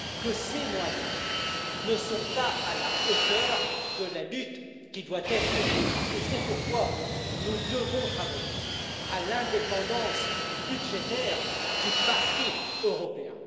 Que ses moyens ne sont pas à la hauteur de la lutte qui doit être menée, c'est pourquoi nous devons travailler à l'indépendance budgétaire du Parquet européen.